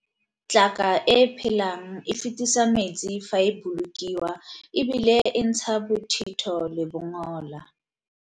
Tlaka e e phelang e fetisa metsi fa e bolokiwa e bile e ntsha bothito le bongola.